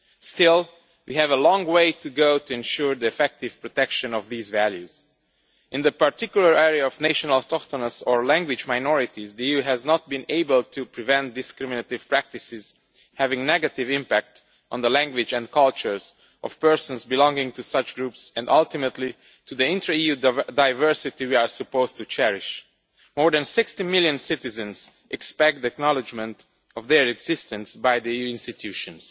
Still, we have a long way to go to ensure the effective protection of these values. In the particular area of national, autochthonous or language minorities, the EU has not been able to prevent discriminative practices having a negative impact on the language and culture of persons belonging to such groups and ultimately to the intra EU diversity we are supposed to cherish. More than 60 million citizens expect acknowledgement of their existence by the EU institutions.